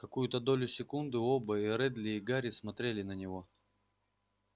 какую-то долю секунды оба и реддл и гарри смотрели на него